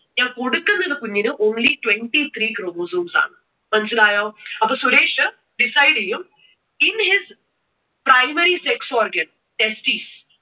ഞാൻ കൊടുക്കുന്നത് കുഞ്ഞിന് only twenty three chromosomes ആണ്. മനസ്സിലായോ? അപ്പോ സുരേഷ് decide ചെയ്യും in his primary sex organ testis